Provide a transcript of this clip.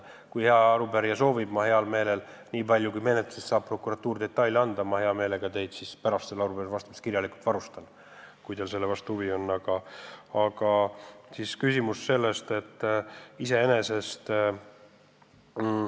Kui hea arupärija soovib, siis ma hea meelega annan teile kirjalikult pärast sellele arupärimisele vastamist teada lisadetaile menetluse kohta, nii palju kui prokuratuur mulle neid anda saab.